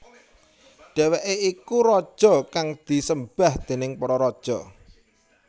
Dheweke iku raja kang disembah déning para raja